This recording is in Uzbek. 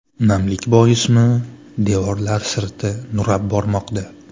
Namlik boismi, devorlar sirti nurab bormoqda.